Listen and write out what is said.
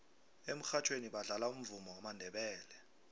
emurhatjhweni badlala umvumo wamandebele